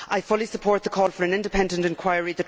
I fully support the call for an independent inquiry.